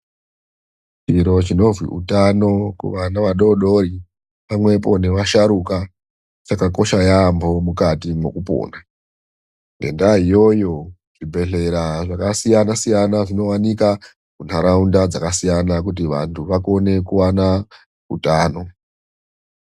Chiro chinozwi utano kuvana vadoodori pamwepo nevasharukwa chakakosha yampo mukati mwokupona. Ngedaa iyoyo zvibhehlera zvakasiyana siyana zvinowanika muntaraunda dzakasiyana kuti vantu vakone kuvana utano.